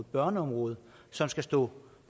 børneområdet som skal stå